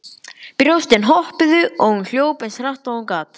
Brjóstin hoppuðu og hún hljóp eins hratt og hún gat.